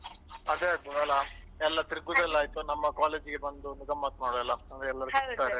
ಅದೇ ಆಗ್ಬೋದಲ್ಲ ಎಲ್ಲಾ ತಿರುಗುದೆಲ್ಲ ಆಯ್ತು ನಮ್ಮ college ಗೆ ಬಂದು ಗಮ್ಮತ್ ಮಾಡ್ಬೋದಲ್ಲಾ ಅಂದ್ರೆ ಎಲ್ಲರೂ ಸಿಕ್ತಾರೆ .